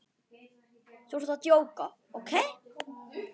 Þú ert að djóka, ókei?